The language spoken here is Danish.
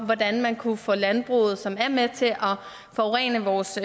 hvordan man kunne få landbruget som er med til at forurene vores